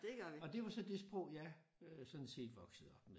Og det var så det sprog jeg øh sådan set voksede op med